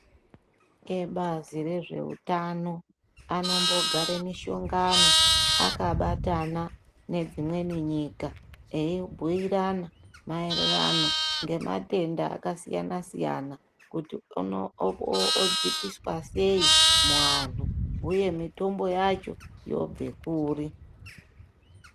Ebazi rezveutano anombogare mishongano akabatana nedzimweni nyika eibhuirana maererano ngematenda akasiyana-siyana kuti odzikiswa sei muanhu uye mitombo yacho yobve kuri.